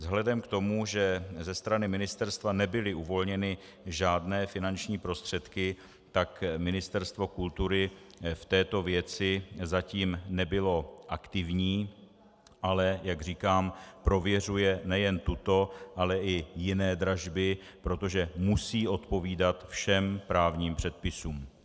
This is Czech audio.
Vzhledem k tomu, že ze strany ministerstva nebyly uvolněny žádné finanční prostředky, tak Ministerstvo kultury v této věci zatím nebylo aktivní, ale jak říkám, prověřuje nejen tuto, ale i jiné dražby, protože musí odpovídat všem právním předpisům.